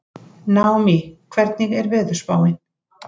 Naómí, hvernig er veðurspáin?